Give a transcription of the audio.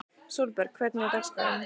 Sólberg, hvernig er dagskráin?